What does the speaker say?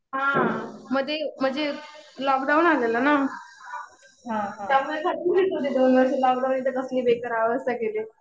हा. मध्ये म्हणजे लॉक डाऊन आलेलं ना. त्यामुळे घातली दोन वर्ष तिथं. लॉक डाऊनने तर कसली बेकार अवस्था केलीय.